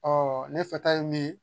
ne fɛta ye min ye